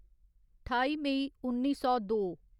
ठाई मेई उन्नी सौ दो